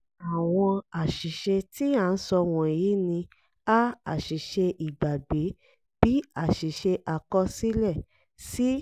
àwọn àṣìṣe tí a ń sọ wọ̀nyí ni: a) àṣìṣe ìgbàgbé b) àṣìṣe àkọsílẹ c)